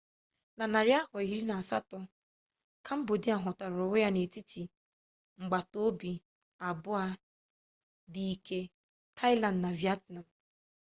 na narị afọ iri na asatọ kambodia hụtara onwe ya n'etiti agbatobi abụọ dị ike taịland na vietnam